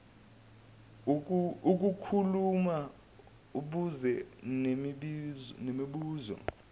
lokukhuluma abuze nemibuzo